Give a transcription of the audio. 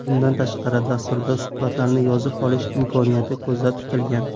Bundan tashqari, dasturda suhbatlarni yozib olish imkoniyati ko‘zda tutilgan.